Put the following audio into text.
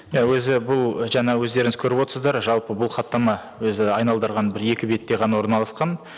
иә өзі бұл жаңа өздеріңіз көріп отырсыздар жалпы бұл хаттама өзі айналдырған бір екі бетте ғана орналасқан